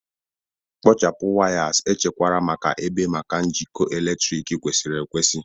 Kpochapụ wires echekwara ebe maka njikọ eletrik kwesịrị ekwesị.